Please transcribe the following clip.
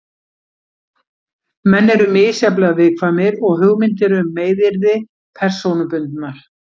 Menn eru misjafnlega viðkvæmir og hugmyndir um meiðyrði persónubundnar.